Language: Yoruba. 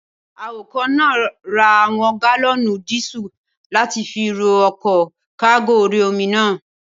Awakọ̀ náà ra àwọn gálọ̀nù díísù láti fi rọ ọkọ̀ kágò orí-omi náà